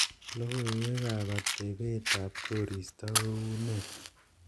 logoiwek ab atebeet ab koristo ko unee